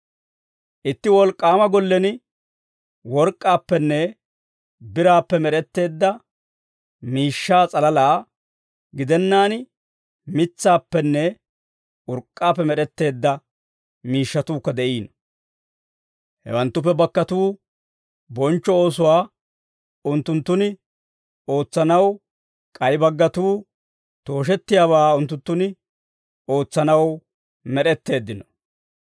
Itti wolk'k'aama gollen work'k'aappenne biraappe med'etteedda miishshaa s'alalaa gidennaan, mitsaappenne urk'k'aappe med'etteedda miishshatuukka de'iino. Hewanttuppe baggatuu bonchcho oosuwaa unttunttun ootsanaw, k'ay baggatuu tooshettiyaabaa unttunttun ootsanaw med'etteeddino.